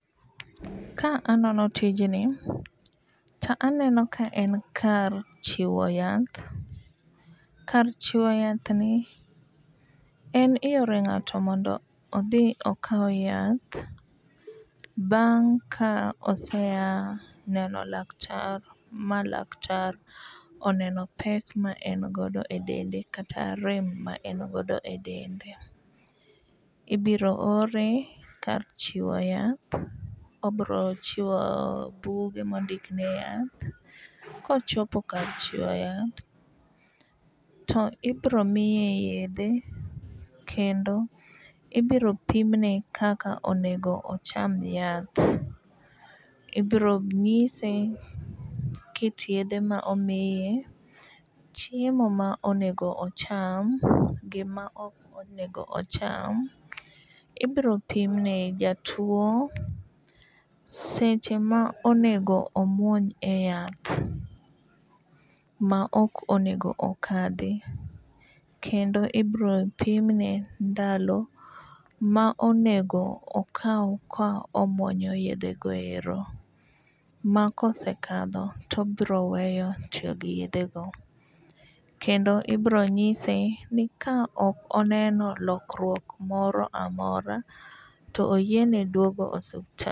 Ka anono tijni , ta aneno ka en kar chiwo yath. Kar chiwo yath ni en iore ng'ato mondo odhi okaw yath bang' ka oseya neno laktar ma laktar oneno pek ma en godo e dende kata rem ma en godo e dende. Ibiro ore kar chiwo yath obro chiwo buge mondik niya kochopo kar chiwo yath to ibro miye yedhe kendo ibiro pimne kaka onego ocham yath. Ibro ng'ise kit yedhe ma omiye ,chiemo ma onego ocham gi ma ok onego ocham ,ibro pimne jatuo seche ma onego omuony e yath ma ok onego okadhi kendo ibro pimne ndalo ma onego okaw ka omuonyo yedhe go ero ma kosekadho tobro weyo tiyo gi yedhe go kendo ibro nyise ni ka ok oneno lokruok moro amora to oyiene duogo e osiptal